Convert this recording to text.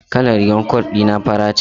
Kalar rigar cot dina fari ce.